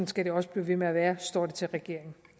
skal det også blive ved med at være hvis står til regeringen